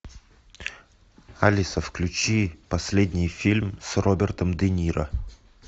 алиса включи последний фильм с робертом де ниро